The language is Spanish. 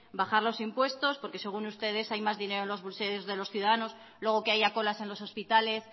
bajar los impuestos porque según ustedes hay más dinero en los bolsillos de los ciudadanos luego que haya colas en los hospitales